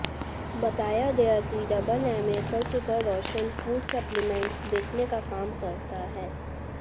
बताया गया कि डबल एमए कर चुका रोशन फूड सप्लिमेंट बेचने का काम करता है